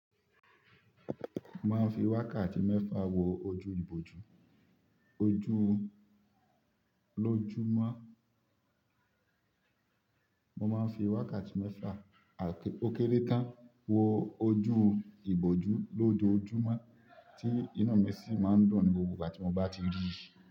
Mo máa ń fi wákàtí mẹ́fà wo ojú ìbòjú. Ojú ló jù má. Mo má ń fi wákàtí mẹ́fà òkéré tán wo ojú ìbòjú lójó ojúmọ́, tí inú mi sì má ń dùn ni gbogbo ìgbà tí mo bá ti rí i.